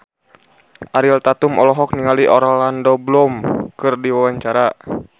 Ariel Tatum olohok ningali Orlando Bloom keur diwawancara